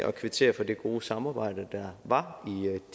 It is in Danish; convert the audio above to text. at kvittere for det gode samarbejde der var